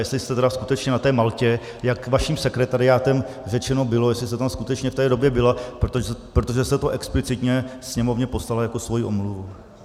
Jestli jste tedy skutečně na té Maltě, jak vaším sekretariátem řečeno bylo, jestli jste tam skutečně v té době byla, protože se to explicitně Sněmovně poslala jako svoji omluvu.